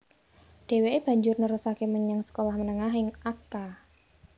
Dheweke banjur nerusake menyang sekolah menengah ing Akka